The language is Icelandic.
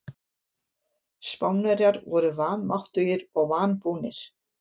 Spánverjar voru vanmáttugir og vanbúnir.